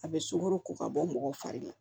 A bɛ sunkaro ko ka bɔ mɔgɔ fari la